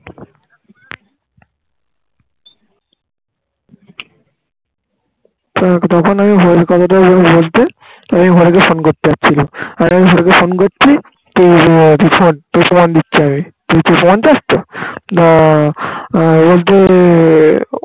থাক তখন আমি ওই কথা টা ঐভাবে বলতে আমি ঘরে গিয়ে ফোন করতে যাচ্ছি আর আমি ঘরে গিয়ে ফোন করছি তো প্রমান দিচ্ছি আমি তুই প্রমান চাস তো আহ বলতে